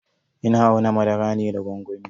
Ina auna madara ne da gwangwami.